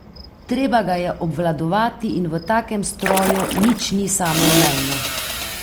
Treba ga je obvladovati in v takem stroju nič ni samoumevno.